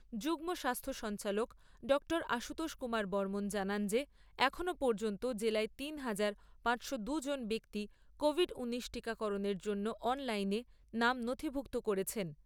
যুগ্ম স্বাস্থ্য সঞ্চালক ডাক্তার আশুতোষ কুমার বর্মন জানান যে এখনো পর্যন্ত জেলায় তিন হাজার পাঁচশো দুই জন ব্যক্তি কোভিড ঊনিশ টীকাকরণের জন্য অনলাইনে নাম নথিভুক্ত করেছেন।